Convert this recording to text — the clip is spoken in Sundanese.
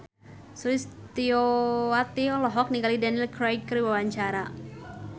Sulistyowati olohok ningali Daniel Craig keur diwawancara